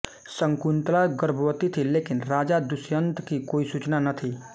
शकुंतला गर्भवती थीं लेकिन राजा दुष्यंत की कोई सूचना न थी